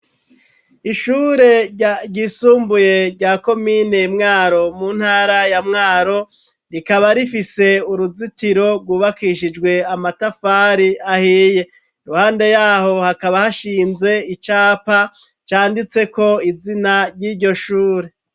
Ishure ryisumbuye rya komine mwaro mu ntara ya mwaro rikaba rifise uruzitiro rwubakishijwe amatafari ahiye ruhande yaho hakaba hashinze icapa canditse ko izina ry'iryo shure.